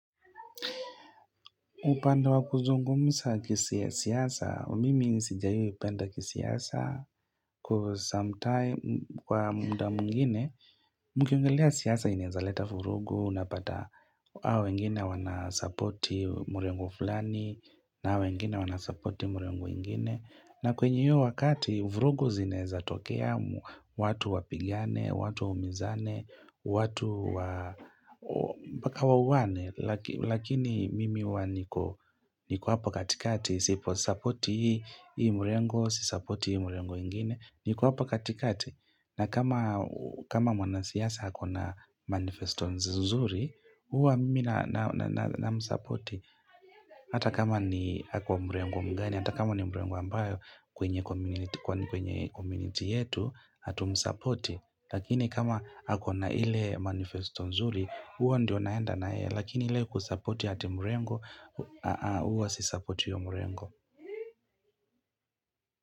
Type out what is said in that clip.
Upande wa kuzungumza kesi ya siasa, mimi sijai penda kisiasa cause some time kwa mda mwengine. Nikiongelea siasa inaeza leta vurugu, unapata hawa wengine wanasupport hiyo mrengo fulani na hawa wengine wanasupport mrengo ingine. Na kwenye hiyo wakati, vurugu zinaeza tokea watu wapigane, watu waumizane, watu wa mpaka wauane, lakini mimi huwa niko hapa katikati, siposupport hii mrengo, sisupport hii mrengo ingine. Niko hapa katikati na kama mwanasiasa ako na manifesto nzuri Uwa mimi na namsapoti Hata kama ni ako mrengo mgani Hata kama ni mrengo ambayo kwenye community yetu Hatumsapoti Lakini kama ako na ile manifesto nzuri huo ndio naenda na yeye Lakini ile kusapoti ati mrengo huwa sisapoti hiyo mrengo.